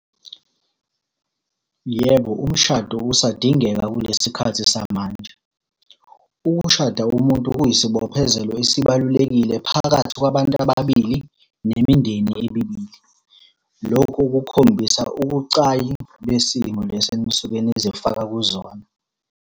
Yebo, umshado usadingeka kulesi khathi samanje. Ukushada umuntu kuyisibophezelo esibalulekile phakathi kwabantu ababili, nemindeni emibili. Lokho kukhombisa ukucayi besimo lesi enisuke nizifaka kuzona.